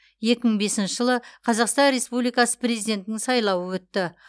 екі мың бесінші жылы қазақстан республикасы президентінің сайлауы өтті